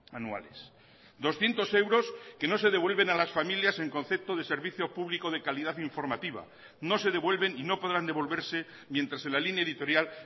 anuales doscientos euros que no se devuelven a las familias en concepto de servicio público de calidad informativa no se devuelven y no podrán devolverse mientras en la línea editorial